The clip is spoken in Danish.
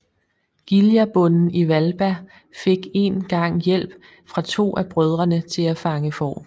Giljabonden i Hvalba fik en gang hjælp fra to af brødrene til at fange får